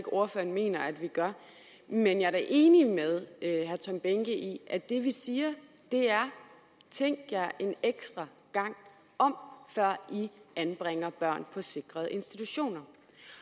ordføreren mener at vi gør men jeg er da enig med herre tom behnke i at det vi siger er tænk jer en ekstra gang om før i anbringer børn på sikrede institutioner